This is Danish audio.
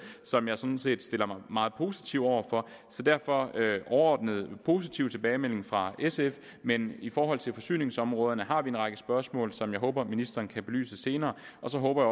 som jeg sådan set stiller mig meget positivt over for så derfor er der en overordnet positiv tilbagemelding fra sf men i forhold til forsyningsområderne har vi en række spørgsmål som jeg håber at ministeren kan belyse senere og så håber